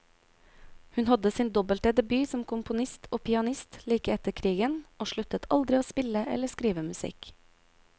Hun hadde sin dobbelte debut som komponist og pianist like etter krigen, og sluttet aldri å spille eller skrive musikk.